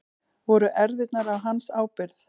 Voru erfðirnar á hans ábyrgð?